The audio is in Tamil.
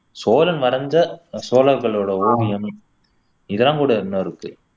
சோழன் வரைஞ்ச சோழர்களோட ஓவியம் இதெல்லாம் கூட இன்னும் இருக்கு